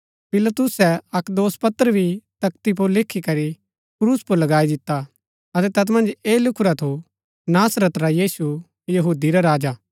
पिलातुसै अक्क दोषपत्र भी तख्ती पुर लिखीकरी क्रूस पुर लगाई दिता अतै तैत मन्ज ऐह लिखूरा थू नासरत रा यीशु यहूदी रा राजा